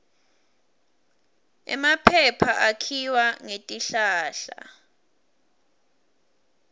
emaphepha akhiwa ngetihlahla